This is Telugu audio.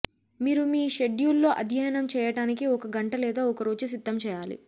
మీరు మీ షెడ్యూల్లో అధ్యయనం చేయటానికి ఒక గంట లేదా ఒకరోజు సిద్ధం చేయాలి